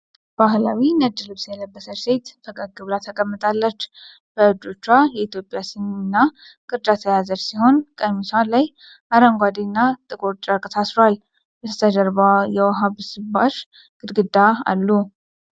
ባህላዊ ነጭ ልብስ የለበሰች ሴት ፈገግ ብላ ተቀምጣለች። በእጆቿ የኢትዮጵያ ሲኒ እና ቅርጫት የያዘች ስትሆን፣ ቀሚሷ ላይ አረንጓዴና ጥቁር ጨርቅ ታስሯል። ከበስተጀርባዋ የውሃ ብስባሽ ግድግዳ አሉ።